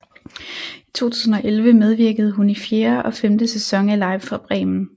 I 2011 medvirkede hun i fjerde og femte sæson af Live fra Bremen